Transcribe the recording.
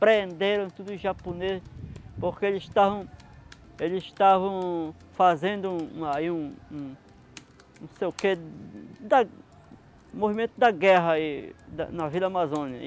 Prenderam tudo os japoneses, porque eles estavam... eles estavam fazendo aí um um... não sei o que... da, movimento da guerra aí na Vila Amazônia.